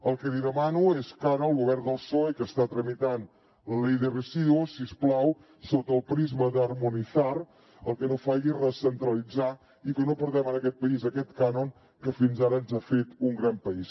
el que li demano és que ara el govern del psoe que està tramitant la ley de residuos si us plau sota el prisma d’harmonizarlitzar i que no perdem en aquest país aquest cànon que fins ara ens ha fet un gran país